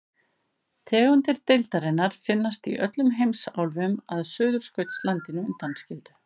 Tegundir deildarinnar finnast í öllum heimsálfum að Suðurskautslandinu undanskildu.